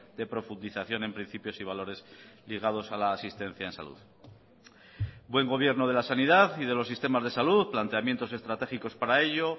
de profundización en principios y valores ligados a la asistencia en salud buen gobierno de la sanidad y de los sistemas de salud planteamientos estratégicos para ello